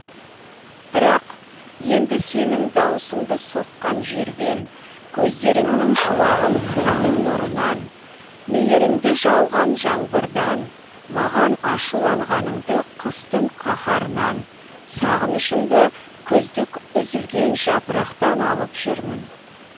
бірақ енді сенің дауысыңды соққан желден көздеріңнің шуағын күннің нұрынан мейіріңді жауған жаңбырдан маған ашуланғаныңды қыстың қаһарынан сағынышыңды күздік үзілген жапырақтан алып жүрмін